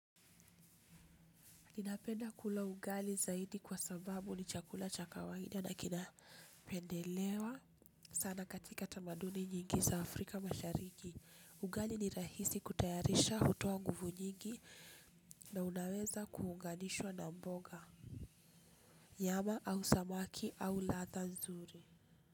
Ninapenda kula ugali zaidi kwa sababu ni chakula cha kawaida na kinapendelewa sana katika tamaduni nyingi za Afrika mashariki. Ugali ni rahisi kutayarisha hutoa nguvu nyingi na unaweza kuunganishwa na mboga. Nyama au samaki au ladha nzuri.